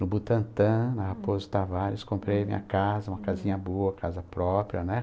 No Butantã, na Raposo Tavares, comprei minha casa, uma casinha boa, casa própria, né?